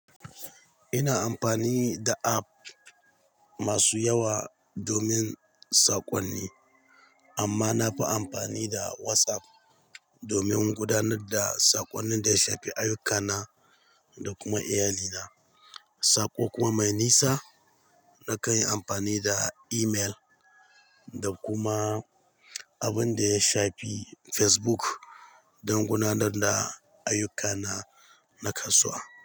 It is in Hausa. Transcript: Ina amfani da app masu yawa domin saƙonni amma na fi amfani da WhatsApp domin gudanar da saƙonnin da ya shafi ayyukana da kuma iyali na. Saƙo kuma mai nisa, na kan yi amfani da email da kuma abun da ya shafi Facebook don gudanar da ayyukana na kasuwa.